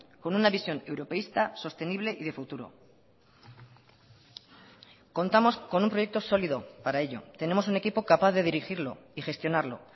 con una visión europeista sostenible y de futuro contamos con un proyecto sólido para ello tenemos un equipo capaz de dirigirlo y gestionarlo